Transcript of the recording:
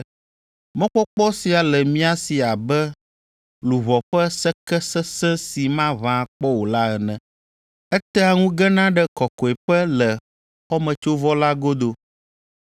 Mɔkpɔkpɔ sia le mia si abe luʋɔ ƒe seke sesẽ si maʋã akpɔ o la ene. Etea ŋu gena ɖe kɔkɔeƒe le xɔmetsovɔ la godo,